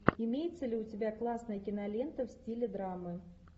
имеется ли у тебя классная кинолента в стиле драмы